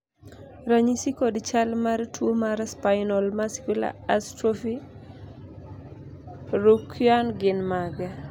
ranyisi kod chal mar tuo mar Spinal muscular atrophy Ryukyuan gin mage?